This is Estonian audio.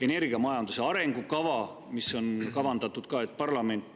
Energiamajanduse arengukava puhul on ka kavandatud, et seda arutab parlament.